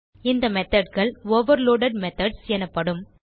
இந்த methodகள்overloaded மெத்தோட்ஸ் எனப்படும்